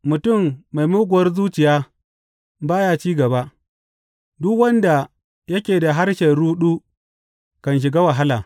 Mutum mai muguwar zuciya ba ya cin gaba; duk wanda yake da harshen ruɗu kan shiga wahala.